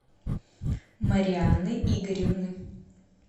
марианы игоревны